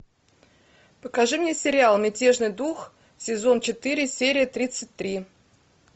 покажи мне сериал мятежный дух сезон четыре серия тридцать три